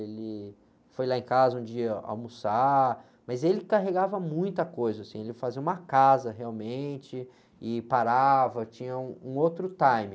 Ele foi lá em casa um dia almoçar, mas ele carregava muita coisa, assim, ele fazia uma casa realmente e parava, tinha um, um outro time.